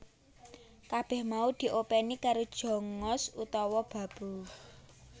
Kabèh mau diopèni karo Jongos utawa babu